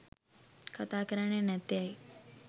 කතා කරන්නේ නැත්තේ ඇයි?